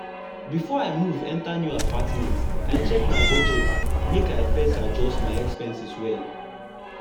before i move enter new apartment i check my budget make i fit adjust my expenses well.